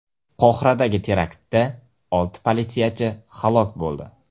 Qohiradagi teraktda olti politsiyachi halok bo‘ldi.